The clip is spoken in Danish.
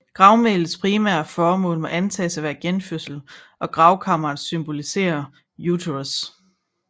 Gravmælets primære formål må antages at være genfødsel og gravkammeret symboliserede uterus